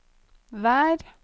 vær